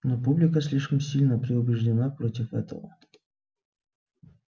но публика слишком сильно предубеждена против этого